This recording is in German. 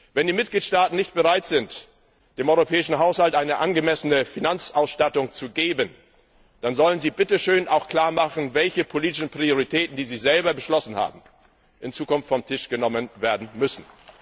Wenn die Mitgliedstaaten nicht bereit sind, dem Europäischen Haushalt eine angemessene Finanzausstattung zu geben, dann sollen sie auch klar machen, welche politischen Prioritäten, die sie selber beschlossen haben, in Zukunft vom Tisch genommen werden müssen.